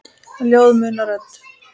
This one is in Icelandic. Ljóð muna rödd.